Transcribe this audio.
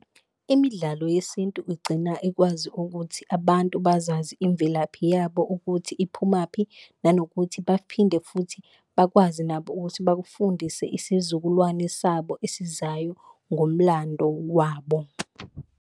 Imidlalo yesintu igcina ikwazi ukuthi abantu bazazi imvelaphi yabo ukuthi iphumaphi, nanokuthi baphinde futhi bakwazi nabo ukuthi bakufundise isizukulwane sabo esizayo ngomlando wabo.